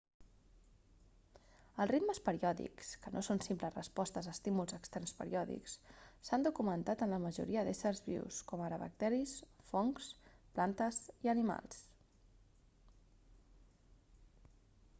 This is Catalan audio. els ritmes periòdics que no són simples respostes a estímuls externs periòdics s'han documentat en la majoria d'éssers vius com ara bacteris fongs plantes i animals